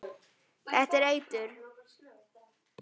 Þetta er eitur.